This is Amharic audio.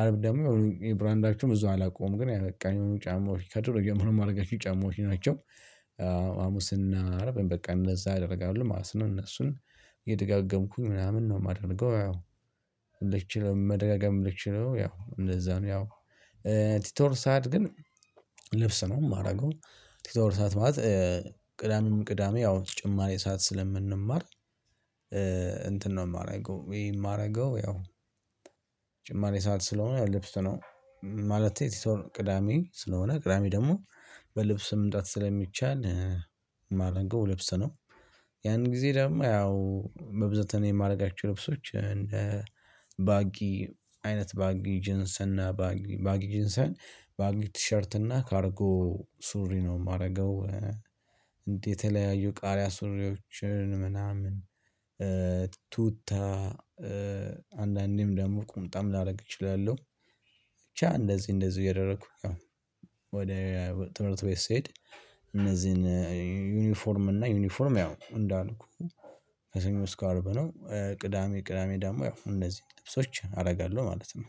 አርብ ደግሞ የብራንዳቸዉም እዛው አላውቁም ግን ያበቃኝ ጫማዎች ከድሮ ጀምሮ የማደርጋቸው ጫማዎች ናቸው። ሐሙስና አርብ በቃ እነዛ አደርጋለሁ ማለት ነው እነሱን የደጋገምኩኝ ምናምን ነው የማደርገው። አዎ ልችለው መደገም ምችለው ያው እንደዛ ነው። ያው ቲቶር ሰዓት ግን ልብስ ነው የማደርገው። ቲቶር ሰዓት ማለት ቅዳሜ ቅዳሜ ያው ተጨማሪ ሰዓት ስለምንማር። እንትን ነው የማደርገው ይሄ የማደርገው ያው ጭማሪ ሰዓት ስለሆነ ልብስ ነው። ማለት የቲቶር ቅዳሜ ስለሆነ ቅዳሜ ደግሞ በልብስ መምጣት ስለሚቻል ማረገው ልብስ ነው። ያን ጊዜ ደግሞ ያው በብዛት እኔ የማደርጋቸው ልብሶች እንደ ባጊ አይነት ባጊ ጅንሰን እና ባጊ ባጊ ጄንሰን ባጊ ቲሸርት እና ካርጎ ሱሪ ነው የማረገው። እንዴት የተለያዩ ቃሪያ ሱሪዎችን ምናምን ቱታ አንዳንዴም ደግሞ ቁምጣም ላደርግ እችላለሁ። ብቻ እንደዚህ እንደዚህ እየደረኩኝ ያው ወደ ትምህርት ቤት ስሄድ እነዚህን ዩኒፎርም እና ዩኒፎርም ያው እንዳልኩህ ከሰኞ እስከ አርብ ነው ቅዳሜ ቅዳሜ ደሞ ያው እነዚህ ልብሶች አደርጋለሁ። ማለት ነው።